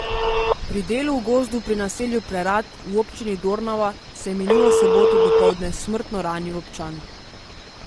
Pri delu v gozdu pri naselju Prerad v občini Dornava se je minulo soboto dopoldne smrtno ranil občan.